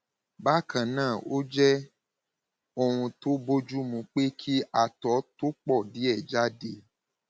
bákan náà ó jẹ ohun tó bójúmu pé kí àtọ tó pọ díẹ jáde